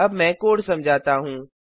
अब मैं कोड समझाता हूँ